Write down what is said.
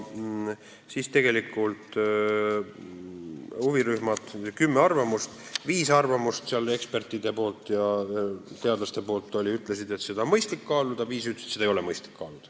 Saime huvirühmadelt kümme arvamust ja viies arvamuses, mis laekusid ekspertidelt ja teadlastelt, märgiti, et seda on mõistlik kaaluda, viies arvati, et seda ei ole mõistlik kaaluda.